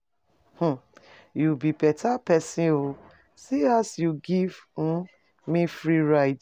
um You be beta person oo, see as you give um me free ride.